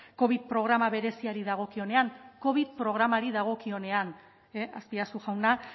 covid programa bereziari dagokionean covid programari dagokionean azpiazu jauna